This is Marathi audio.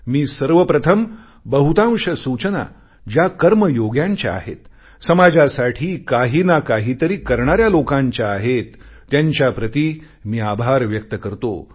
मी सर्वप्रथम बहुतांश सूचना ज्या कर्मयोग्यांच्या आहेत समाजासाठी काहीनाकाही तरी करणाऱ्या लोकांच्या आहेत त्यांच्याप्रति मी आभार व्यक्त करतो